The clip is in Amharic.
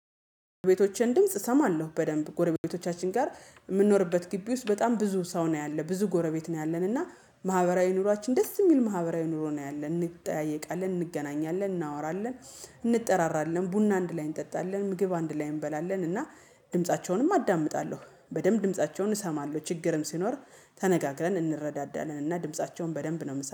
ቤቶቼን ድምጽ እሰማለሁ በደንብ ጎረቤቶቻችን ጋር የምንኖርበት ግቢ ውስጥ በጣም ብዙ ሰው ነው ያለ ብዙ ጎረቤት ነው ያለን እና ማህበራዊ ኑሯችን ደስ የሚል ማህበራዊ ኑሮ ነው ያለን እንጠያየቃለን እንገናኛለን እናወራለን እንጠራራለን ቡና አንድ ላይ እንጠጣለን ምግብ አንድ ላይ እንበላለን። እና ድምፃቸውንም አዳምጣለሁ በደንብ ድምፃቸውን እሰማለሁ ችግርም ሲኖር ተነጋግረን እንረዳዳንና ድምፃቸውን በደንብ ነው የምሰማው